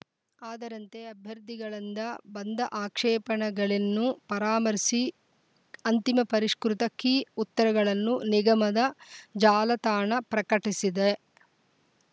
ಅದರಂತೆ ಅಭ್ಯರ್ಥಿಗಳಂದ ಬಂದ ಆಕ್ಷೇಪಣೆಗಳೆನ್ನು ಪರಾಮರ್ಶಿ ಅಂತಿಮ ಪರಿಷ್ಕೃತ ಕೀ ಉತ್ತರಗಳನ್ನು ನಿಗಮದ ಜಾಲತಾಣ ಪ್ರಕಟಿಸಿದೆ